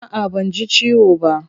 A'a banji ciwo ba.